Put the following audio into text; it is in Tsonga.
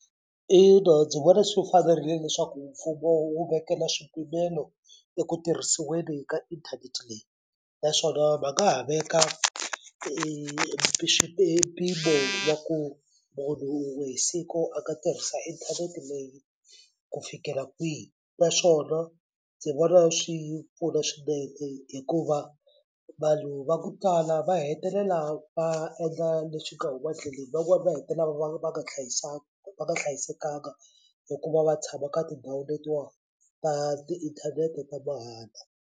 Ina, ndzi vona swi fanerile leswaku mfumo wu vekela swipimelo eku tirhisiweni ka inthanete leyi naswona va nga ha veka e mpimo wa ku munhu wun'we hi siku a nga tirhisa inthanete leyi ku fikela kwihi naswona ndzi vona swi pfuna swinene hikuva vanhu va ku tala va hetelela va endla leswi nga huma ndleleni van'wani va hetelela va va nga hlayisanga va nga hlayisekanga hikuva va tshama ka tindhawu letiwa ta tiinthanete ta mahala.